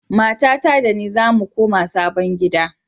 Matata da ni zamu koma sabon gida.